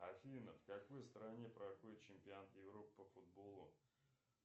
афина в какой стране проходит чемпионат европы по футболу